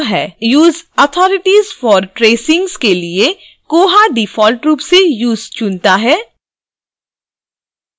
useauthoritiesfortracings के लिए koha default रूप से use चुनता है